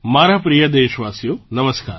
મારા પ્રિય દેશવાસીઓ નમસ્કાર